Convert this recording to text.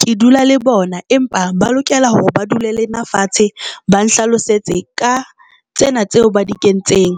Ke dula le bona empa ba lokela hore ba dule le nna fatshe ba nhlalosetse ka tsena tseo ba di kentseng